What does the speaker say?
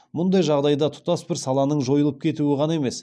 мұндай жағдайда тұтас бір саланың жойылып кетуі ғана емес